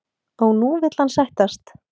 Og nú vill hann sættast?